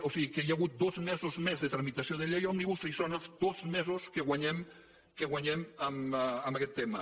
o sigui que hi ha hagut dos mesos més de tramitació de llei òmnibus i són els dos mesos que guanyem que guanyem amb aquest tema